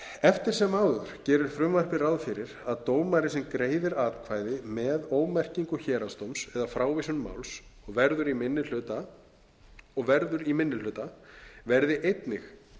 eftir sem áður gerir frumvarpið ráð fyrir að dómari sem greiðir atkvæði með ómerkingu héraðsdóms eða frávísun máls og verður í minni hluta verði einnig